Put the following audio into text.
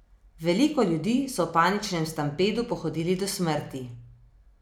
Veliko ljudi so v paničnem stampedu pohodili do smrti.